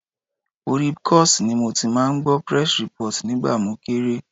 Orí Bcos ni mo ti máa ń gbọ́ press report nígbà mo kéré.